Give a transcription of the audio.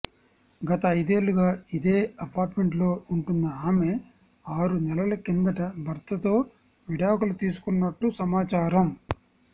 గత ఐదేళ్లుగా ఇదే అపార్ట్మెంటులో ఉంటున్న ఆమె ఆరు నెలల కిందట భర్తతో విడాకులు తీసుకున్నట్టు సమాచారం